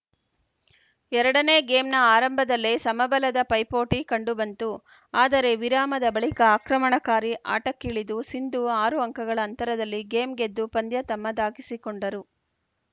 ಎರಡ ನೇ ಗೇಮ್‌ನ ಆರಂಭದಲ್ಲೇ ಸಮಬಲದ ಪೈಪೋಟಿ ಕಂಡುಬಂತು ಆದರೆ ವಿರಾಮದ ಬಳಿಕ ಆಕ್ರಮಣಕಾರಿ ಆಟಕ್ಕಿಳಿದ ಸಿಂಧು ಆರು ಅಂಕಗಳ ಅಂತರದಲ್ಲಿ ಗೇಮ್‌ ಗೆದ್ದು ಪಂದ್ಯ ತಮ್ಮದಾಗಿಸಿಕೊಂಡರು